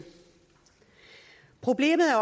problemet er